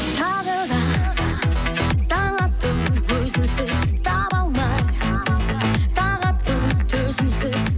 тағы да таң атты өзіңсіз таба алмай тағатты төзімсіз